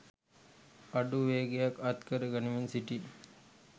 අඩු වේගයක් අත් කර ගනිමින් සිටී.